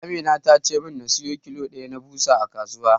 Amina ta ce min na siyo kilo ɗaya na ɓusa a kasuwa.